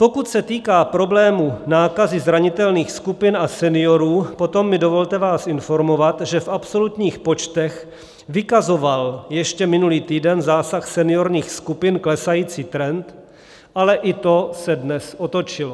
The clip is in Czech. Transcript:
Pokud se týká problému nákazy zranitelných skupin a seniorů, potom mi dovolte vás informovat, že v absolutních počtech vykazoval ještě minulý týden zásah seniorních skupin klesající trend, ale i to se dnes otočilo.